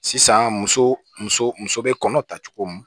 Sisan muso muso muso bɛ kɔnɔ ta cogo min